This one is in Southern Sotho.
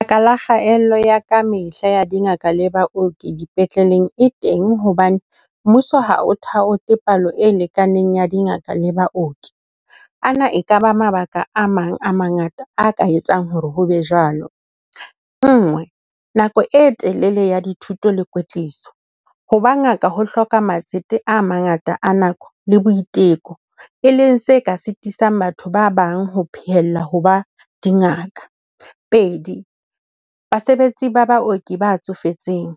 La kgaello ya kamehla ya dingaka le baoki dipetleleng e teng hobane mmuso ha ho thaotha palo e lekaneng ya dingaka le baoki. A na ekaba mabaka a mang a mangata a ka etsang hore ho be jwalo. Nngwe, nako e telele ya dithuto le kwetliso, ho ba ngaka ho hloka matsete a mangata a nako le boiteko. E leng se ka sitisang batho ba bang ho pheella ho ba dingaka. Pedi, basebetsi ba baoki ba tsofetseng.